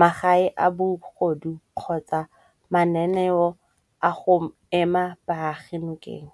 magae a bogodu kgotsa mananeo a go ema baagi nokeng.